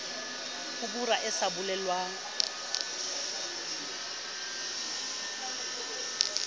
ho bora e sa bolelwang